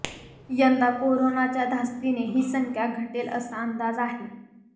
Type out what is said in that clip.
यंदा कोरोनाच्या धास्तीने ही संख्या घटेल असा अंदाज आहे